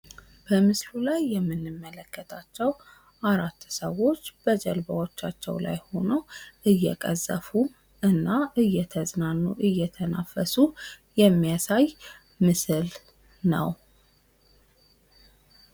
በምስሉ ላይ የምንመለከታቸው አራት ሰዎች በጀልባዎቻቸው ላይ ሆነው፣ እየቀዘፉ እና እየተዝናኑ፣ እየተናፈሱ የሚያሳይ ምስል ነው።